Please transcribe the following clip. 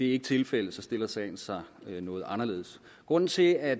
ikke tilfældet stiller sagen sig noget anderledes grunden til at